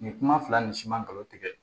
Nin kuma fila nin siman garisigɛ